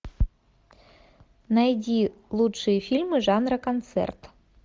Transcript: найди лучшие фильмы жанра концерт